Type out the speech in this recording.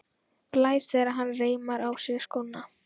Blæs þegar hann reimar á sig skóna.